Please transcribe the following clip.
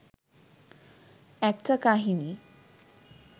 একটা কাহিনি